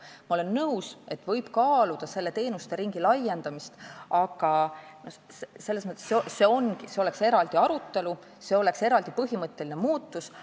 Ma olen nõus, et võib kaaluda teenuste ringi laiendamist, aga see nõuaks eraldi arutelu, see oleks eraldi põhimõtteline muutus.